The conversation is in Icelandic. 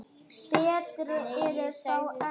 Nei, ég sagði það aldrei.